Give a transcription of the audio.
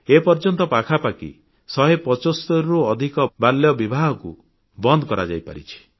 ଏପର୍ଯ୍ୟନ୍ତ ପାଖାପାଖି ଶହେ ପଚସ୍ତରୀରୁ ଅଧିକ ବାଲ୍ୟବିବାହକୁ ବନ୍ଦ କରାଯାଇପାରିଛି